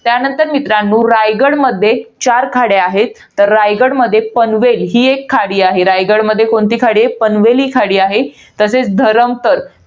त्यानंतर मित्रांनो, रायगडमध्ये चार खड्या आहेत. तर रायगडमध्ये पनवेल ही एक खाडी आहे. रायगडमध्ये कोणीत खाडी आहे? पनवेल ही खाडी आहे. तसेच धरमतर.